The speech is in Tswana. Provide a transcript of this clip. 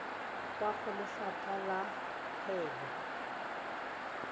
kwa go lefapha la kgwebo